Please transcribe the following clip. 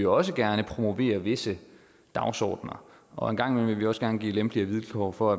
også gerne vil promovere visse dagsordener og en gang imellem vil vi også gerne give lempeligere vilkår for